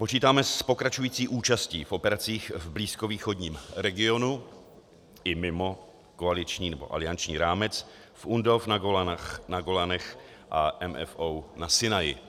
Počítáme s pokračující účastí v operacích v blízkovýchodním regionu i mimo koaliční nebo alianční rámec v UNDOF na Golanech a MFO na Sinaji.